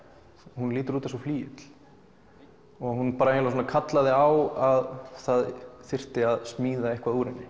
hún lítur út eins og flygill og hún bara svona kallaði á að það þyrfti að smíða eitthvað úr henni